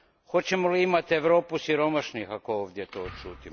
Hoćemo li imati Europu siromašnih ako ovdje to odšutimo?